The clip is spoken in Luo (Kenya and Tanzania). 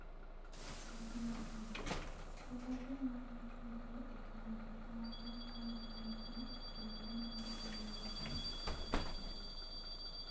Pwodho Pi Maber: Pwodho pi ma itiyogo e timo gik moko kaka kano pi, kendo neno ni pi modho ok ochido.